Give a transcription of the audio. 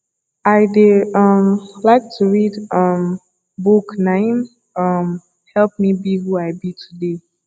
i dey um like to read um book na im um help me be who i be today